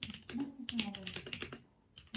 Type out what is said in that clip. Como é que funcionava isso?